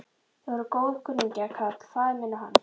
Þeir voru góðkunningjar, karl faðir minn og hann.